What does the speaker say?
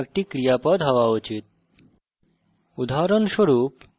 এছাড়াও মেথডের name একটি ক্রিয়াপদ হওয়া উচিত